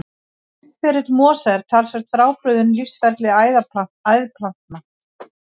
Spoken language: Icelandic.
Lífsferill mosa er talsvert frábrugðinn lífsferli æðplantna.